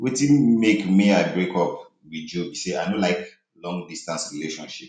wetin make may i break break up with joe be say i no like long distance relationship